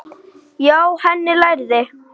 Hjá henni lærði